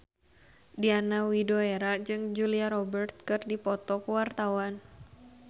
Diana Widoera jeung Julia Robert keur dipoto ku wartawan